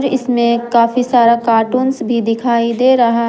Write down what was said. इसमें काफी सारा कार्टून्स भी दिखाई दे रहा--